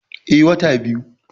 Eh, wata biyu